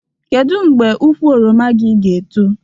Kedu mgbe ukwu oroma gị ga-eto?